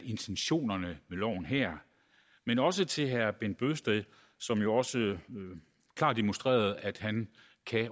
intentionerne loven her men også til herre bent bøgsted som jo også klart demonstrerede at han